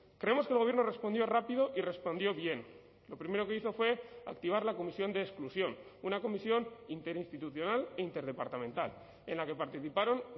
creemos que el gobierno respondió rápido y respondió bien lo primero que hizo fue activar la comisión de exclusión una comisión interinstitucional e interdepartamental en la que participaron